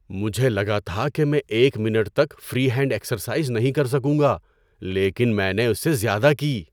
مجھے لگا تھا کہ میں ایک منٹ تک فری ہینڈ ایکسرسائز نہیں کر سکوں گا لیکن میں نے اس سے زیادہ کی۔